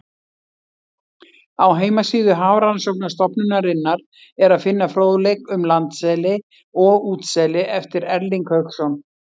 Á heimasíðu Hafrannsóknastofnunarinnar er að finna fróðleik um landseli og útseli eftir Erling Hauksson.